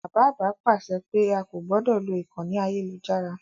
Bàbá àgbà pàṣẹ pé a kò gbọdọ̀ lo ìkànnì ayélujára.